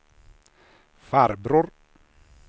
farbror